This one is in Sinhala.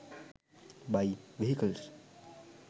buy vehicles